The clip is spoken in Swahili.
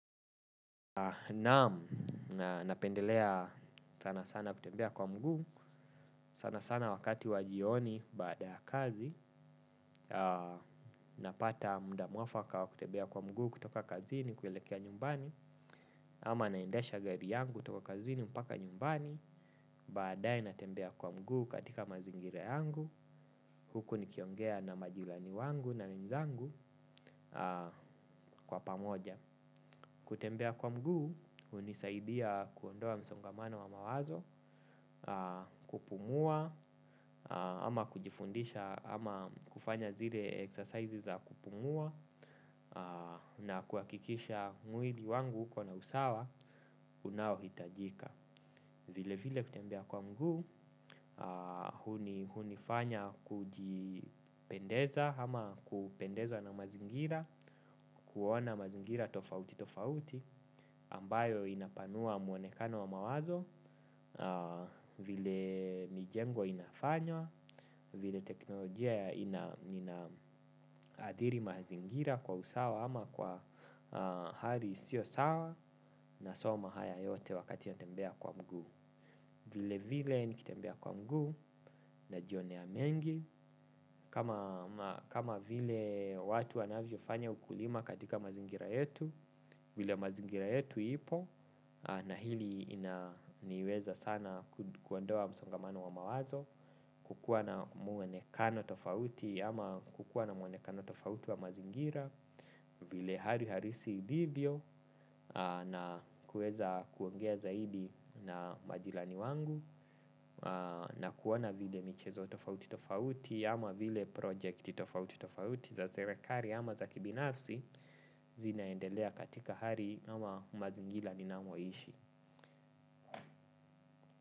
Naam, napendelea sana sana kutembea kwa mguu sana sana wakati wa jioni baada ya kazi. Napata muda mwafaka wa kutembea kwa mguu kutoka kazini kuelekea nyumbani. Ama naendesha gari yangu kutoka kazini mpaka nyumbani. Baadae natembea kwa mguu katika mazingira yangu huku nikiongea na majirani wangu na wenzangu kwa pamoja kutembea kwa mguu, unisaidia kuondoa msongamano wa mawazo, kupumua, ama kujifundisha, ama kufanya zile exercises za kupumua, na kuakikisha mwili wangu huko na usawa, unao hitajika. Vile vile kutembea kwa mguu, hunifanya kujipendeza ama kupendeza na mazingira, kuona mazingira tofauti tofauti, ambayo inapanua mwonekano wa mawazo, vile mijengo inafanywa, vile teknolojia inaadhiri mazingira kwa usawa ama kwa hali isio sawa nasoma haya yote wakati ya tembea kwa mguu. Vile vile nikitembea kwa mguu najionea mengi. Kama vile watu wanavyo fanya ukulima katika mazingira yetu. Vile mazingira yetu ipo na hili niweza sana kuondoa msongamano wa mawazo. Kukuwa na mwonekano tofauti ama kukua na mwonekano tofauti wa mazingira. Vile hari harisi ilivyo na kuweza kuongea zaidi na majirani wangu na kuona vile michezo tofauti tofauti ama vile project tofauti tofauti za serekari ama za kibinafsi zinaendelea katika hari ama mazingila ninamoishi.